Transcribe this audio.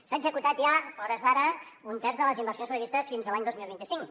s’ha executat ja a hores d’ara un terç de les inversions previstes fins a l’any dos mil vint cinc